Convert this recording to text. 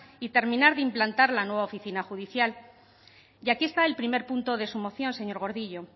y terminar de implantar la nueva oficina judicial y aquí está el primer punto de su moción señor gordillo